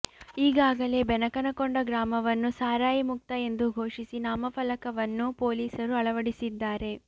ಈಗಾಗಲೇ ಬೆನಕನಕೊಂಡ ಗ್ರಾಮವನ್ನು ಸಾರಾಯಿ ಮುಕ್ತ ಎಂದು ಘೊಷಿಸಿ ನಾಮಫಲಕವನ್ನೂ ಪೊಲೀಸರು ಅಳವಡಿಸಿದ್ದಾರೆ